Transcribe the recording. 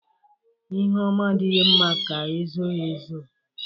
lhe oma adighi mma ka e zoo ya ezoo.